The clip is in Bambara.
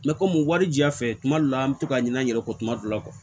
komi wari jafɛ kuma dɔ la an be to ka ɲina an yɛrɛ kɔ tuma dɔ la